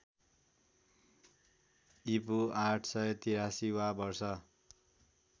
ईपू ८८३ वा वर्ष